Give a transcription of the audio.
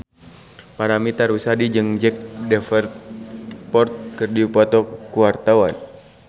Paramitha Rusady jeung Jack Davenport keur dipoto ku wartawan